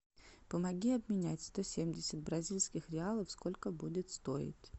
помоги обменять сто семьдесят бразильских реалов сколько будет стоить